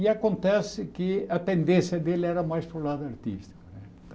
E acontece que a tendência dele era mais para o lado artístico.